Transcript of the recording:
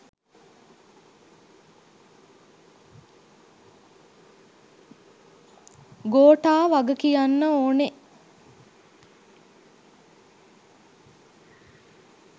ගෝටා වග කියන්න ඕනෙ.